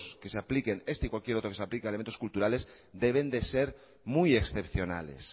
que se apliquen este y cualquier otro que se aplique a elementos culturales deben de ser muy excepcionales